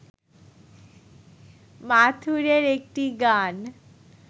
মাথুরের একটি গান